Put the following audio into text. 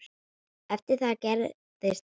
Eftir það gerðist ekkert.